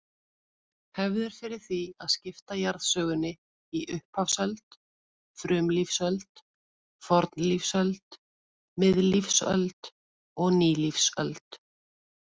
Hefð er fyrir því að skipta jarðsögunni í upphafsöld, frumlífsöld, fornlífsöld, miðlífsöld og nýlífsöld.